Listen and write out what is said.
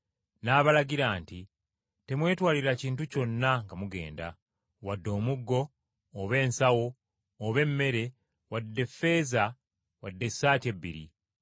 N’abalagira nti, “Temwetwalira kintu kyonna nga mugenda, wadde omuggo, oba ensawo, oba emmere, wadde ffeeza wadde essaati ebbiri.